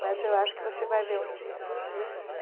Mas eu acho que você vai ver um dia.